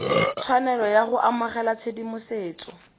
tshwanelo ya go amogela tshedimosetso